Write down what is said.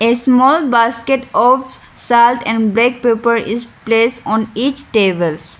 a small basket of salt and black pepper is placed on each tables.